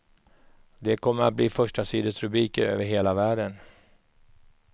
Det kommer att bli förstasidesrubriker över hela världen.